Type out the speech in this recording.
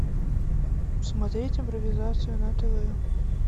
смотреть импровизацию на тв